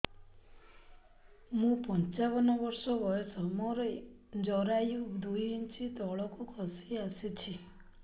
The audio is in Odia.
ମୁଁ ପଞ୍ଚାବନ ବର୍ଷ ବୟସ ମୋର ଜରାୟୁ ଦୁଇ ଇଞ୍ଚ ତଳକୁ ଖସି ଆସିଛି